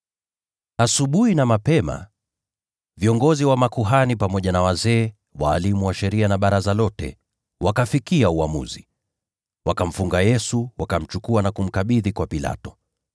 Asubuhi na mapema, viongozi wa makuhani, pamoja na wazee, walimu wa sheria na Baraza lote, wakafikia uamuzi. Wakamfunga Yesu, wakamchukua na kumkabidhi kwa Pilato.